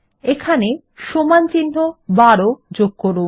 এখানে সমানচিহ্ন ১২ যোগ করুন